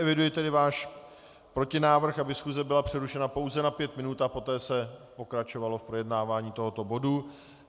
Eviduji tedy váš protinávrh, aby schůze byla přerušena pouze na pět minut a poté se pokračovalo v projednávání tohoto bodu.